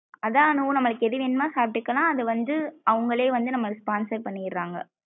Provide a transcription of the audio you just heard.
அதான் அனு நம்மளுக்கு எதுவேணும்னா சாப்டுக்கலாம் அது வந்து அவுங்களே வந்து நம்மளுக்கு sponsor பண்ணிறாங்க.